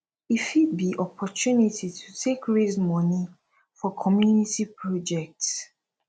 e fit be opportunity to take raise moni for community project